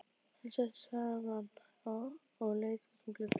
Hann settist framan á og leit út um gluggann.